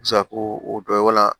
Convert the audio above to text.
o dɔ wala